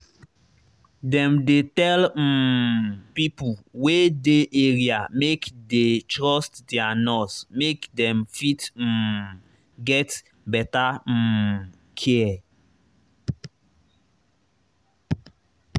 dem dey tell um pipo wey dey area make dey trust their nurse make dem fit um get better um care